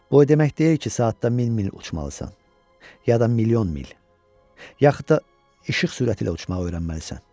Bu o demək deyil ki, saatda min mil uçmalısan, ya da milyon mil, yaxud da işıq sürəti ilə uçmağı öyrənməlisən.